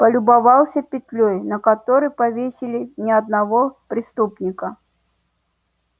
полюбовался петлёй на которой повесили не одного преступника